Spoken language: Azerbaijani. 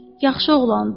Yaxşı oğlandı.